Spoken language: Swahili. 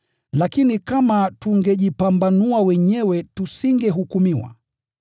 Lakini kama tungejichunguza wenyewe tusingehukumiwa.